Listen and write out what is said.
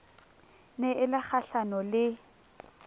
ne e le kgahlano le